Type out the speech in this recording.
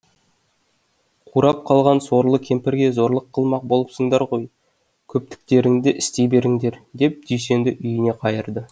қурап қалған сорлы кемпірге зорлық қылмақ болыпсыңдар ғой көптіктеріңді істей беріңдер деп дүйсенді үйіне қайырды